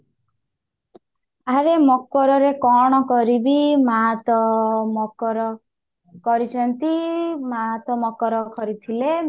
ଆରେ ମକରରେ କଣ କରିବି ମାଆ ତ ମକର କରିଛନ୍ତି ମାଆ ତ ମକର କରିଥିଲେ